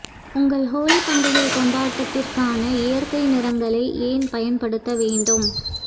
உங்கள் ஹோலி பண்டிகை கொண்டாட்டத்திற்கான இயற்கை நிறங்களை ஏன் பயன்படுத்த வேண்டும்